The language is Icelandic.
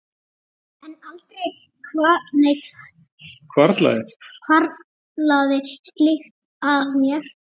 en aldrei hvarflaði slíkt að mér.